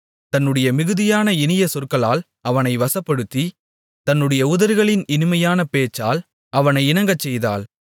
தன்னுடைய மிகுதியான இனிய சொற்களால் அவனை வசப்படுத்தி தன்னுடைய உதடுகளின் இனிமையான பேச்சால் அவனை இணங்கச்செய்தாள்